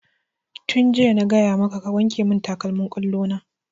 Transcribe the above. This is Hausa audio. Tun jiya na gaya maka ka wanke mun takalmin ƙwallo na!